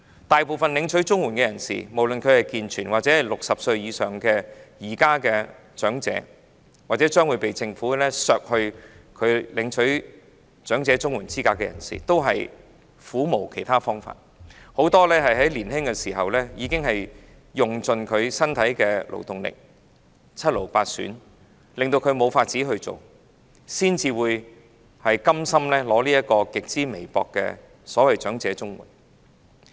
大部分領取綜援的人士，無論是健全人士或現時60歲以上的長者，或將會被政府剝奪領取綜援資格的人士，均苦無其他方法，很多在年青時已經用盡身體的勞動力，以致七癆八損，令他們無法工作，才會甘心領取極之微薄的所謂"長者綜援"。